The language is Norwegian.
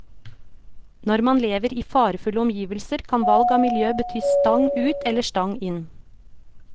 Når man lever i farefulle omgivelser kan valg av miljø bety stang ut eller stang inn.